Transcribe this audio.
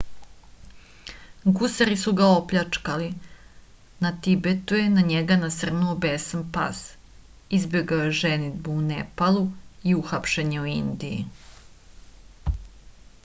gusari su ga opljačkali na tibetu je na njega nasrnuo besan pas izbegao je ženidbu u nepalu i uhapšen je u indiji